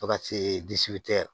Paka se